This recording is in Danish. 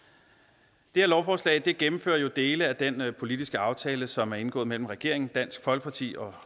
det her lovforslag gennemfører jo dele af den politiske aftale som er indgået mellem regeringen dansk folkeparti og